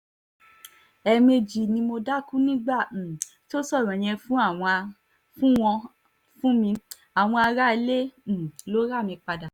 ẹ̀ẹ̀mejì ni mo dákú nígbà um tó sọ̀rọ̀ yẹn fún àwon a fún wọn fún mi àwọn aráalé um ló rà mí padà